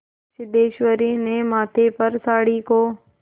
सिद्धेश्वरी ने माथे पर साड़ी को